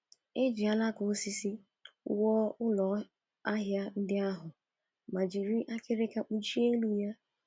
E ji alaka osisi wuo ụlọahịa ndị ahụ ma jiri akịrịka kpuchie elu ya.